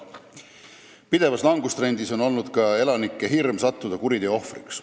Pidevas langustrendis on olnud ka elanike hirm sattuda kuriteo ohvriks.